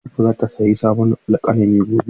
Latifa zata sayi sabon alƙalami gobe.